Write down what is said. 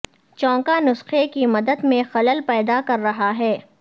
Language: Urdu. چونکہ نسخے کی مدت میں خلل پیدا کر رہا ہے